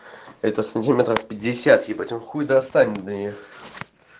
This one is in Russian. это сантиметров пятьдесят ебать он хуй достанет до неё